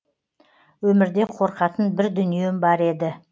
өмірде қорқатын бір дүнием бар еді